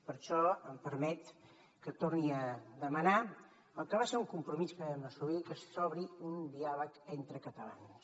per això em permet que torni a demanar el que va ser un compromís que vam assolir que s’obri un diàleg entre catalans